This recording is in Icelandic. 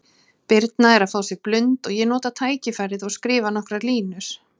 Birna er að fá sér blund og ég nota tækifærið og skrifa nokkrar línur.